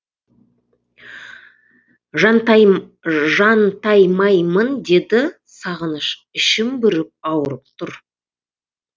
жантаймаймын деді сағыныш ішім бүріп ауырып тұр